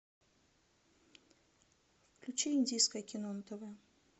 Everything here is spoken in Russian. включи индийское кино на тв